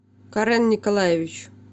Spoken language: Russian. карэн николаевич